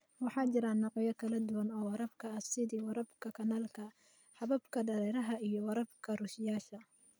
Waxaa jira noocyo kala duwan oo waraabka ah, sida waraabka kanaalka, hababka dareeraha, iyo waraabka rusheeyayaasha.